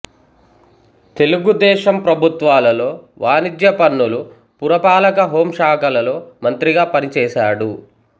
తెలుగుదేశం ప్రభుత్వాలలో వాణిజ్యపన్నులు పురపాలక హోం శాఖలలో మంత్రిగా పనిచేసాడు